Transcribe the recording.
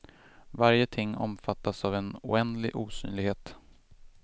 Varje ting omfattas av en oändlig osynlighet.